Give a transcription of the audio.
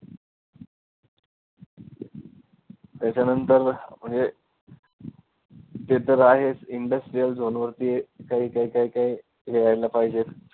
त्याच्यानंतर हे ते तर आहेच industrial zone वरती काही काही काही काही हे व्हायला पाहिजेचं.